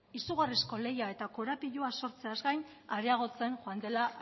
izugarrizko lehia eta korapiloa sortzeaz gain areagotzen joan dela